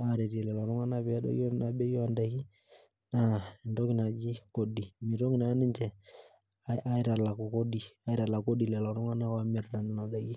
aaretie lelo tung'anak peedoyio ina bei oondaiki naa entoki nadi kodi meitoki naa ninche aitalaku kodi lelo oomirta nena daiki